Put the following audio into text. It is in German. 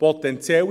Potenzielle